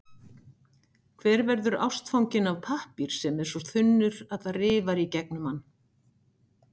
Hver verður ástfanginn af pappír sem er svo þunnur, að það rifar í gegnum hann?